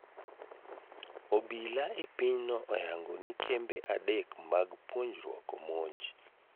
Obila e pinyno oyango ni kembe adek mag puonjruok omonj